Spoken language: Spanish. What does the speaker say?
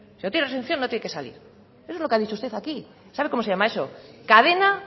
no tiene reinserción no tiene que salir eso es lo que ha dicho usted aquí sabe cómo se llama eso cadena